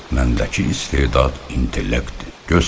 Məndəki istedad, intellekt, göstər!